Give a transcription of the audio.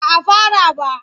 Ba a fara ba.